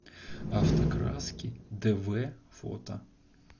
автокраски дв фото